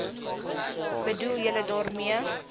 bedoel julle daarmee